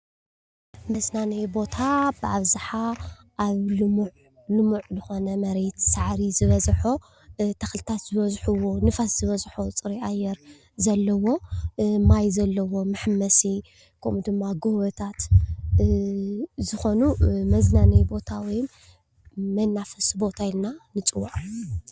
መዝናነዪ ቦታ ብኣብዝሓ ኣብ ሉሙዕን ዝኾነ መሬት ሳዕሪ ዝበዝሖ፣ ተክሊታት ዝበዝሕዎ፣ ንፋስ ዝበዝሕዎ ፅሩይ ኣየር ዘለዎ፣ ማይ ዘለዎ መሓመሲ ከምኡ ድማ ጎቦታት ዝኾኑ መዝናነዪ ቦታ ወይ መናፈሲ ቦታ ኢልና ንፅዎዖ ፡፡